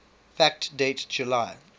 fact date july